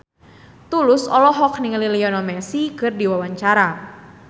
Tulus olohok ningali Lionel Messi keur diwawancara